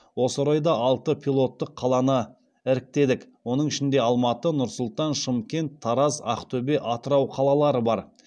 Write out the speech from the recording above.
осы орайда алты пилоттық қаланы іріктедік оның ішінде алматы нұр сұлтан шымкент тараз ақтөбе атырау қалалары бар